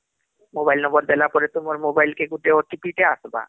mobile number ଦେଲାପରେ ତୁମର mobile କି ଗୁଟେ OTP ଟେ ଅସବା